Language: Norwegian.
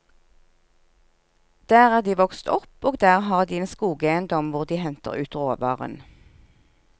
Der er de vokst opp, og der har de en skogeiendom hvor de henter ut råvaren.